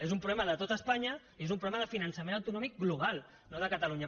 és un problema de tot espanya i és un problema de finançament autonòmic global no de catalunya